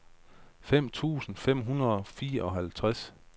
to tusind fem hundrede og fireoghalvtreds